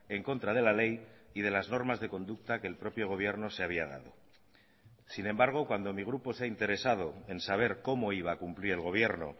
en contra de la ley y de las normas de conducta que el propio gobierno se había dado sin embargo cuando mi grupo se ha interesado en saber cómo iba a cumplir el gobierno